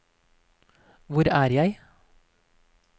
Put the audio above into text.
hvor er jeg